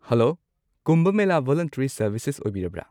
Hello, Kumbh Mela volunteer services ꯑꯣꯢꯕꯤꯔꯕ꯭ꯔ?